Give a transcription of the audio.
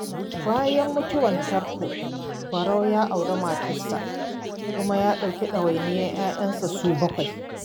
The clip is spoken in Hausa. Bayan mutuwar Tanko, Barau ya auri matarsa, kuma ya ɗauki ɗawainiyar 'ya'yanta su 7.